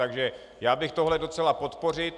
Takže já bych tohle docela podpořil.